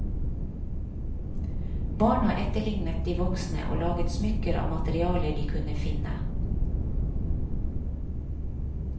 Barna etterlignet de voksne og laget smykker av materialer de kunne finne.